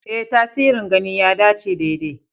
Ee, tasirin gani ya dace daidai.